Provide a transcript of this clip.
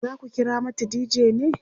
zaku kira mata dj ne?